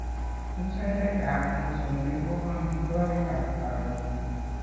Musarekap mosongik ko amitwogikap karon